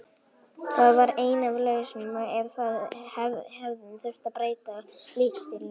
Það var ein af lausnunum ef við hefðum þurft að breyta leikstílnum.